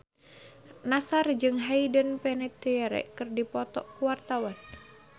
Nassar jeung Hayden Panettiere keur dipoto ku wartawan